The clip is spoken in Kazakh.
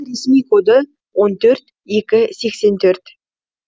ресми коды он төрт екі сексен төрт